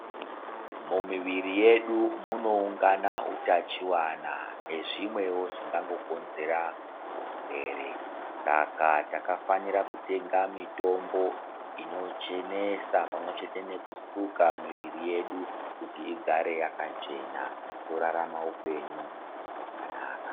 Mumuviri yedu munowungana utachiwana nezvimwewo zvingangokonzera hurwere Saka takafanira kutenga mitombo inochenesa pamwechete nekusuka miviri yeku kuti igare yakachena torarama upenyu hwakanaka